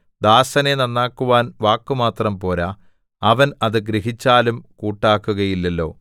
ദാസനെ നന്നാക്കുവാൻ വാക്കുമാത്രം പോരാ അവൻ അത് ഗ്രഹിച്ചാലും കൂട്ടാക്കുകയില്ലല്ലോ